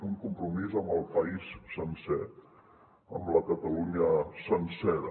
un compromís amb el país sencer amb la catalunya sencera